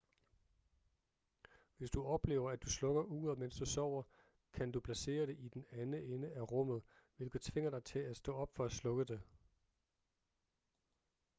hvis du oplever at du slukker uret mens du sover kan du placere det i den anden ende af rummet hvilket tvinger dig til at stå op for at slukke det